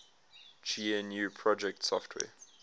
gnu project software